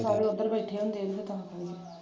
ਸਾਰੇ ਓਧਰ ਬੈਠੇ ਹੁੰਦੇ ਨੇ .